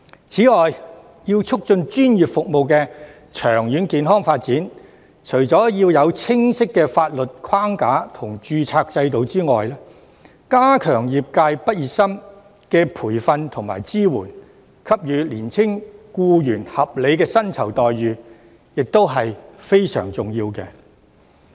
此外，為促進專業服務的長遠健康發展，除了要有清晰的法律框架和註冊制度外，加強對業界畢業生的培訓和支援，並給予年輕僱員合理的薪酬待遇，也是非常重要的。